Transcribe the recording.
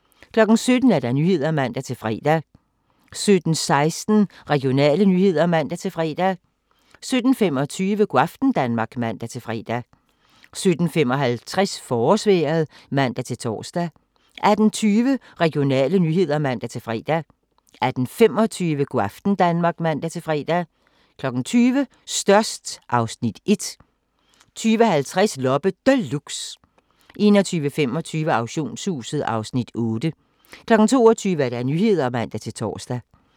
17:00: Nyhederne (man-fre) 17:16: Regionale nyheder (man-fre) 17:25: Go' aften Danmark (man-fre) 17:55: Forårsvejret (man-tor) 18:20: Regionale nyheder (man-fre) 18:25: Go' aften Danmark (man-fre) 20:00: Størst (Afs. 1) 20:50: Loppe Deluxe 21:25: Auktionshuset (Afs. 8) 22:00: Nyhederne (man-tor)